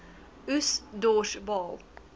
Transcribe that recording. oes dors baal